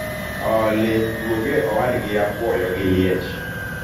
olly duog e owadgi apuoyo gi liech